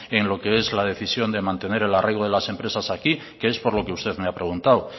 en lo que es la decisión de mantener el arraigo de las empresas aquí que es por lo que usted me ha preguntado